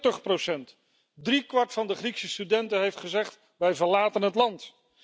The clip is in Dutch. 40 Driekwart van de Griekse studenten heeft gezegd wij verlaten het land!